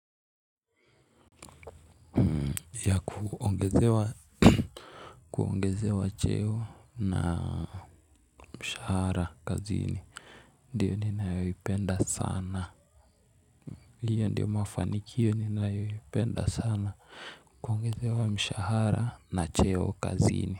Ya kuongezewa kuongezewa cheo na mshahara kazini ndiyo ninayoipenda sana hiyo ndiyo mafanikio ninayoipenda sana kuongeze wa mshahara na cheo kazini.